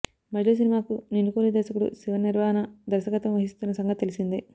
మజిలీ సినిమాకు నిన్ను కోరి దర్శకుడు శివ నిర్వాణ దర్శకత్వం వహిస్తున్న సంగతి తెలిసిందే